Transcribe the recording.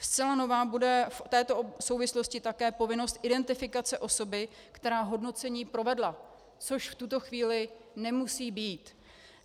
Zcela nová bude v této souvislosti také povinnost identifikace osoby, která hodnocení provedla, což v tuto chvíli nemusí být.